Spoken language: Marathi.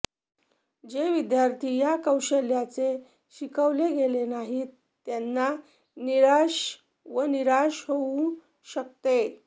जे विद्यार्थी या कौशल्याचे शिकवले गेले नाहीत त्यांना निराश व निराश होऊ शकते